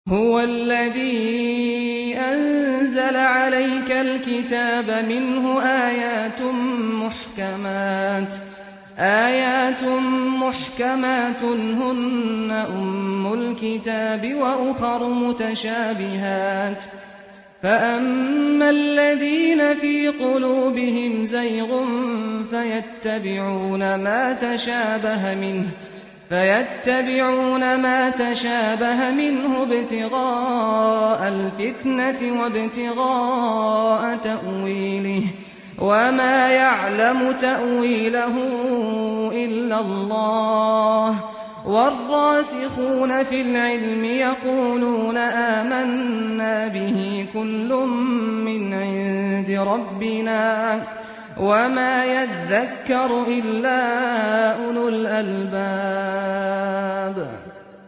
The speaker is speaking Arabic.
هُوَ الَّذِي أَنزَلَ عَلَيْكَ الْكِتَابَ مِنْهُ آيَاتٌ مُّحْكَمَاتٌ هُنَّ أُمُّ الْكِتَابِ وَأُخَرُ مُتَشَابِهَاتٌ ۖ فَأَمَّا الَّذِينَ فِي قُلُوبِهِمْ زَيْغٌ فَيَتَّبِعُونَ مَا تَشَابَهَ مِنْهُ ابْتِغَاءَ الْفِتْنَةِ وَابْتِغَاءَ تَأْوِيلِهِ ۗ وَمَا يَعْلَمُ تَأْوِيلَهُ إِلَّا اللَّهُ ۗ وَالرَّاسِخُونَ فِي الْعِلْمِ يَقُولُونَ آمَنَّا بِهِ كُلٌّ مِّنْ عِندِ رَبِّنَا ۗ وَمَا يَذَّكَّرُ إِلَّا أُولُو الْأَلْبَابِ